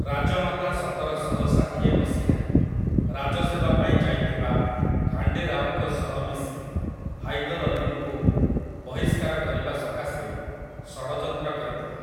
ରାଜମାତା ସତର ଶହ ଷାଠିଏ ମସିହାରେ ରାଜସେବା ପାଇଁ ଯାଇଥିବା ଖାଣ୍ଡେ ରାଓଙ୍କ ସହ ମିଶି ହାଇଦର୍ ଅଲ୍ଲୀଙ୍କୁ ବହିଷ୍କାର କରିବା ସକାଶେ ଷଡ଼ଯନ୍ତ୍ର କରିଥିଲେ ।